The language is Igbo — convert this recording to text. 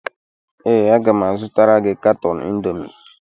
Ee, aga m azụtara gị katọn Indomi